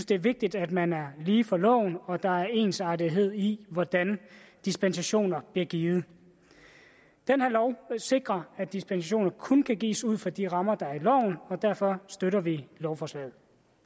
det er vigtigt at man er lige for loven og at der er ensartethed i hvordan dispensationer bliver givet den her lov sikrer at dispensationer kun kan gives ud fra de rammer der er i loven og derfor støtter vi lovforslaget